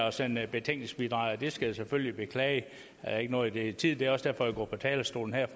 at sende betænkningsbidraget jeg skal selvfølgelig beklage at jeg ikke nåede det i tide men det er også derfor jeg går på talerstolen her